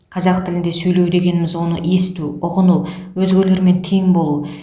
қазақ тілінде сөйлеу дегеніміз оны есту ұғыну өзгелермен тең болу